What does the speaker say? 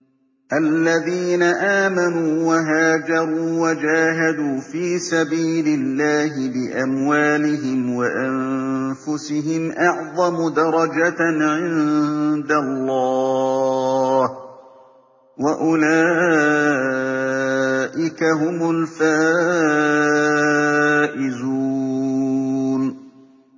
الَّذِينَ آمَنُوا وَهَاجَرُوا وَجَاهَدُوا فِي سَبِيلِ اللَّهِ بِأَمْوَالِهِمْ وَأَنفُسِهِمْ أَعْظَمُ دَرَجَةً عِندَ اللَّهِ ۚ وَأُولَٰئِكَ هُمُ الْفَائِزُونَ